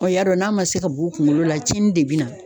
y'a dɔn n'a ma se ka b'u kunkolo la tiɲɛni de be na.